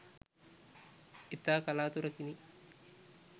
ඉතා කලාතුරකිනි